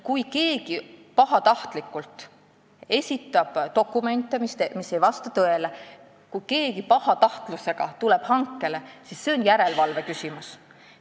Kui keegi esitab pahatahtlikult dokumente, mis ei vasta tõele, kui keegi tuleb hankele pahatahtlusega, siis see on järelevalve küsimus.